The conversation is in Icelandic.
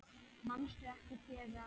Manstu ekki þegar